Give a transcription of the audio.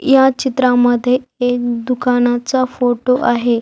यह चित्रा मध्ये दुकानाचा फोटो आहे.